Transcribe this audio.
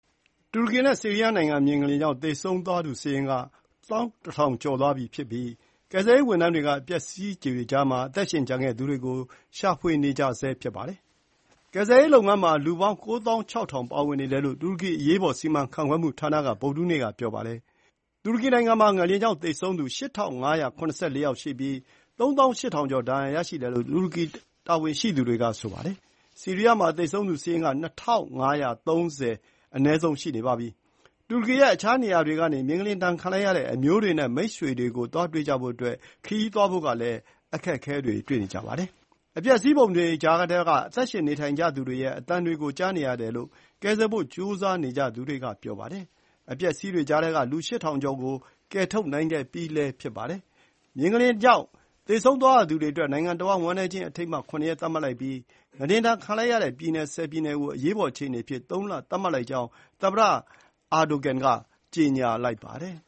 တူရကီနဲ့ ဆီးရီးယားနိုင်ငံ မြေငလျင်ကြောင့် သေဆုံးသူစာရင်းက ၁၁၀၀၀ ကျော်သွားပြီဖြစ်ပြီး ကယ်ဆယ်ရေး ဝန်ထမ်းတွေက အပျက်အစီးတွေကြားမှာ အသက်ရှင်ကျန်ခဲ့သူတွေကို ရှာဖွေနေကြဆဲ ဖြစ်ပါတယ်။ ကယ်ဆယ်ရေး လုပ်ငန်းမှာ လူပေါင်း ၉၆၀၀၀ ပါဝင်နေတယ်လို့ တူရကီ အရေးပေါ် စီမံခန့်ခွဲမှုဌာနက ဗုဒ္ဓဟူးနေ့က ပြောပါတယ်။ တူရကီနိုင်ငံမှာ ငလျင်ကြောင့် သေဆုံးသူ ၈၅၇၄ ယောက် ရှိပြီး ၃၈၀၀၀ ကျော် ဒဏ်ရာရှိတယ်လို့ တူရကီတာဝန်ရှိသူတွေက ပြောပါတယ်။ ဆီးရီးယားမှာတော့ အနည်းဆုံး ၂၅၃၀ ရှိပြီလို့ အစိုးရနဲ့ ကယ်ဆယ်ရေး အဖွဲ့တွေရဲ့ စာရင်းအရ သိရပါတယ်။ တူရကီရဲ့ အခြားနေရာတွေကနေ မြေငလျင်ဒဏ်ခံလိုက်ရတဲ့ အမျိုးတွေနဲ့ မိတ်ဆွေတွေကို သွားတွေ့ကြဖို့အတွက် ခရီးသွားဖို့လည်း အခက်အခဲတွေ့နေရပါတယ်။ အပျက်အစီးပုံတွေကြားထဲက အသက်ရှင်နေထိုင်နေကြသူတွေရဲ့ အသံတွေကို ကြားနေရတယ်လို့ ကယ်ဆယ်ဖို့ ကြိုးစားနေကြသူတွေက ပြောပါတယ်။ အပျက်အစီးတွေကြားထဲက လူ ၈၀၀၀ ကျော် ကို ကယ်ထုတ်နိုင်ခဲ့ပြီးလည်း ဖြစ်ပါတယ်။ မြေငလျင်ကြောင့် သေဆုံးသွားရသူတွေအတွက် နိုင်ငံတဝှမ်း ဝမ်းနည်းခြင်း အထိမ်းအမှတ် ၇ ရက် သတ်မှတ်လိုက်ပြီး၊ ငလျင်ဒဏ် ခံလိုက်တဲ့ ပြည်နယ် ၁၀ ပြည်နယ်ကို အရေးပေါ် အခြေအနေ အဖြစ် ၃ လ သတ်မှတ်လိုက်ကြောင်း သမ္မတ Recep Tayyip Erdogan က ကျေညာလိုက်ပါတယ်။